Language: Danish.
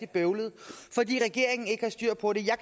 bøvlet fordi regeringen ikke har styr på det jeg